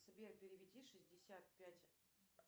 сбер переведи шестьдесят пять